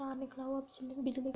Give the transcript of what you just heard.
तार निकला हुआ बिजली का --